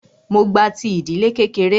Mó gba ti ìdílé kékeré.